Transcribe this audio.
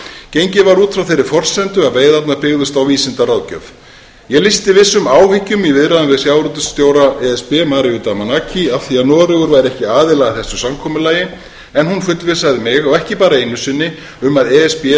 gengið var út frá þeirri forsendu að veiðarnar byggðust á vísindaráðgjöf ég lýsti vissum áhyggjum í viðræðum við sjávarútvegsstjóra e s b mariu damanaki af því að noregur væri ekki aðili að þessu samkomulagi en hún fullvissaði mig og ekki bara einu sinni um að e s b